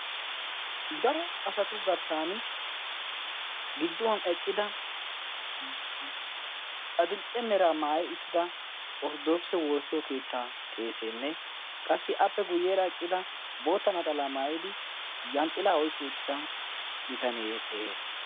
Daro asatu garssan gidduwan eqqida adil''e mera maayyida Orttodokisse woossiyo keetta qeessenne qassi appe guyyeera eqqidi bootta naxala maayyidi yanxxilaa oyqqi uttida bitanne de'ees.